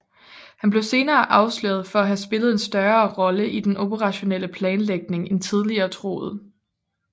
Han blev senere afsløret for at have spillet en større rolle i den operationelle planlægning end tidligere troet